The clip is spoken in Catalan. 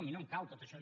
a mi no em cal tot això